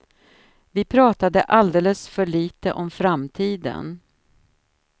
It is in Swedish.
Vi pratade alldeles för lite om framtiden.